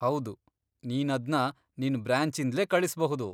ಹೌದು, ನೀನದ್ನ ನಿನ್ ಬ್ರಾಂಚಿಂದ್ಲೇ ಕಳಿಸ್ಬಹುದು.